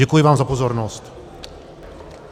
Děkuji vám za pozornost.